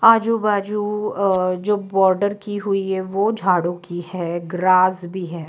आजू बाजू अ जो बॉर्डर की हुई है वह झाड़ू की है ग्रास भी है।